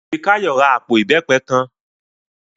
Fikáyọ̀ ra àpò ìbẹ́pẹ kan